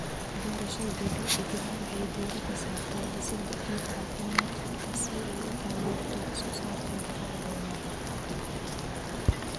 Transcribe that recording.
Beerashada dabiiciga ahi waxay diiradda saartaa dhisidda ciid caafimaad qabta si ay u taageerto wax-soo-saarka dalagga waara.